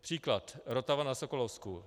Příklad: Rotava na Sokolovsku.